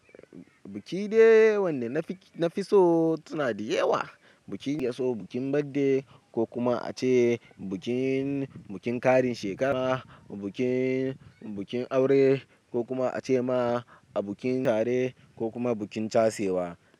Bukiɗe wanda na fi so suna da yawa, bukin getso, bukin birthday ko kuma ace bukin, bukin ƙarin shekara, bukin, bukin aure ko kuma ace ma a bukin tare ko kuma bukin tasewa.